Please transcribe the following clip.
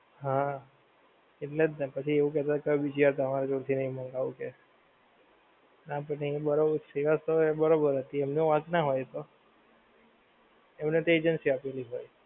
હા એટલે જ ને પછી એવું કહતો કે બીજી વાર તમારી જોડેથી નહીં મંગાવું કે company બરોબર સેવા તો બરોબર હતી એમ એમનો વાંક ના હોય તો એમને તો agency આપેલી ભાઈ